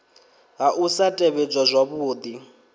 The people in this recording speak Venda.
ha u sa tevhedzwa zwavhudi